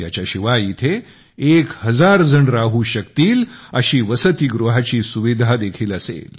याच्या शिवाय इथे 1000 जण राहू शकतील अशी वसतीगृहाची सुविधादेखील असेल